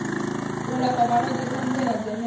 u alafha vhalwadze ṱanziela dzenedzo